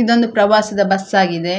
ಇದೊಂದು ಪ್ರವಾಸದ ಬಸ್‌ ಆಗಿದೆ.